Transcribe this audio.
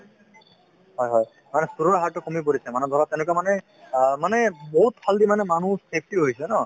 হয় হয় মানে চুৰৰ হাৰতো কমি পৰিছে মানে ধৰক তেনেকুৱা মানুহে অ মানে বহুতফালেদি মানে মানুহ active হৈছে ন